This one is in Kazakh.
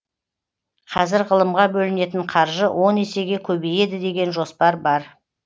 қазір ғылымға бөлінетін қаржы он есеге көбейеді деген жоспар бар